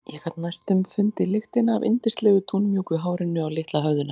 Ég gat næstum fundið lyktina af yndislegu dúnmjúku hárinu á litla höfðinu hennar.